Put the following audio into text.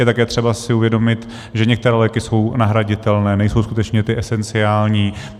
Je také třeba si uvědomit, že některé léky jsou nahraditelné, nejsou skutečně ty esenciální.